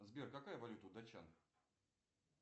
сбер какая валюта у датчан